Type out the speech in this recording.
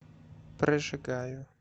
прожигаю